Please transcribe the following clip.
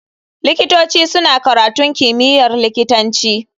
Likitoci suna karatun kimiyyar likitanci.